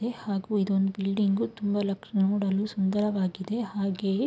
ಹಾಗು ಇದೊಂದು ಬ್ಲೀಡಿಂಗು ತುಂಬಾ ಲಕ್ಶಣ ನೋಡಲು ಸುಂದರವಾಗಿದೆ ಹಾಗೆಯೆ--